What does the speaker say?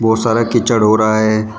बहुत सारा कीचड़ हो रहा है।